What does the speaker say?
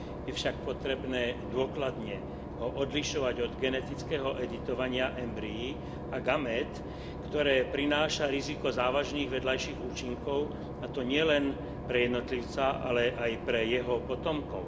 Je však potrebné dôkladne ho odlišovať od genetického editovania embryí a gamét, ktoré prináša riziko závažných vedľajších účinkov, a to nielen pre jednotlivca, ale aj pre jeho potomkov.